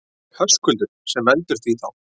Höskuldur: Sem veldur því þá?